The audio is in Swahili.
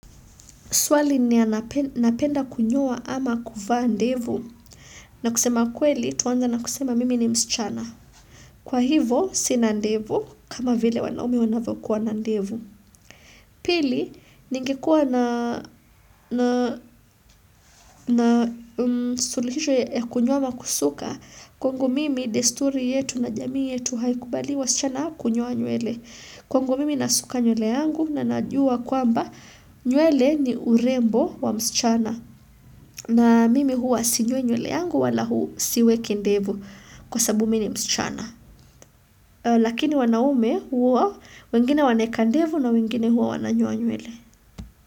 Swali ni napenda kunyoa ama kuvaa ndevu? Na kusema kweli tuwanza na kusema mimi ni msichana. Kwa hivo sina ndevu kama vile wanaume wanavokuwa na ndevu. Pili ningekuwa na suluhisho ya kunyoa ama kusuka kwangu mimi desturi yetu na jamii yetu haikubali wasichana kunyoa nywele. Kwangu mimi nasuka nywele yangu na najua kwamba nywele ni urembo wa msichana. Na mimi huwa sinyoi nywle yangu, wala siweki ndevu kwa sabu mimi msichana. Lakini wanaume huwa wengine wanaweka ndevu na wengine huwa wananyoa nywele.